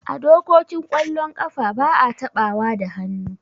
A dokokin kwallon kafa ba'a taɓawa da hannu.